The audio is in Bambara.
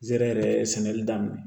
Zɛrɛ sɛnɛli daminɛ